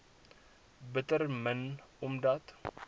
bitter min omdat